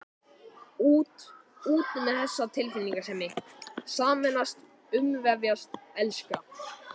Út, út með þessa tilfinningasemi: sameinast, umvefjast, elska.